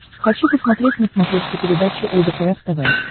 хочу посмотреть на смотрешке передачу лдпр тв